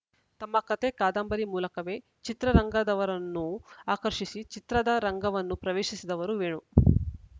ತಮ್ಮ ಕಥೆ ಕಾದಂಬರಿ ಮೂಲಕವೇ ಚಿತ್ರರಂಗದವರನ್ನು ಆಕರ್ಷಿಸಿ ಚಿತ್ರದರಂಗವನ್ನು ಪ್ರವೇಶಿಸಿದವರು ವೇಣು